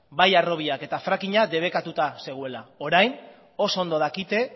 bai harrobiak eta frackinga debekatuta zegoela orain oso ondo dakite